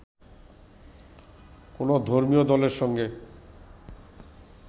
কোনও ধর্মীয় দলের সঙ্গে